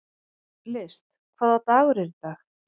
List, hvaða dagur er í dag?